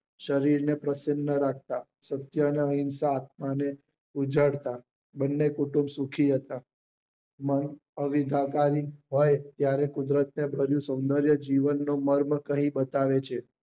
શરીર ને પ્રસન્ન રાખતા સત્ય ને અહીસા ને ઉજાડતા બન્ને કુટુંબ સુખી હતા મન અવિધાકારી હોય ત્યારે કુદરતી ભર્યું સોંદર્ય ભર્યું જીવન ને મર્મ કરી બતાવે છે